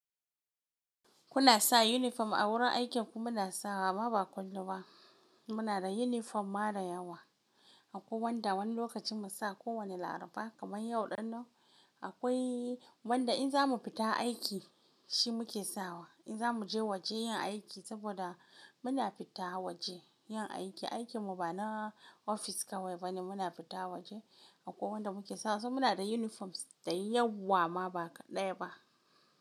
Kuna sa uniform a wurin aiki? Muna sawa, ama ba kullum ba. Muna da uniform ma da yawa. Akwai wanda wani lokacin mu sa kowane laraba kamar yau ɗin nan. Akwai wanda in za mu fita aiki shi muke sawa. In za mu je waje yin aiki saboda muna fita waje yin aiki. Aikinmu ba na ofis kawai ba ne muna fita waje. Akwai wanda muke sawa. So muna da uniforms da yawa ma ba ka ɗaya ba.